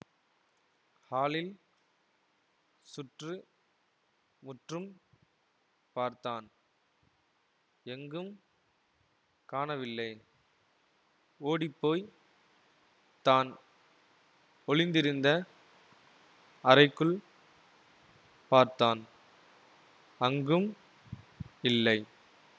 ஹாலில் சுற்று முற்றும் பார்த்தான் எங்கும் காணவில்லை ஓடிப்போய் தான் ஒளிந்திருந்த அறைக்குள் பார்த்தான் அங்கும் இல்லை